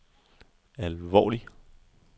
alvorlig